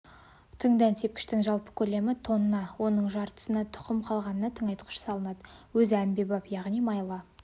тың дән сепкіштің жалпы көлемі тонна оның жартысына тұқым қалғанына тыңайтқыш салынады өзі әмбебап яғни майлы